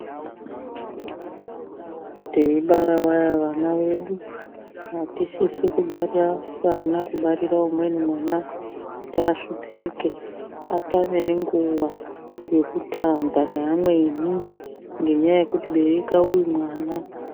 Teibara vavana vedu atsisi kubara vana kubarira umweni mwana kuti ahlupeke atame nenguwa yekutamba neamweni nenyaya yekuti bereka uyu mwana .